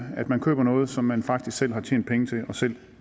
at man køber noget som man faktisk selv har tjent penge til og selv